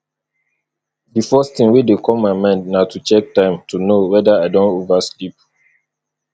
di first thing wey dey come my mind na to check time to know weda i don over sleep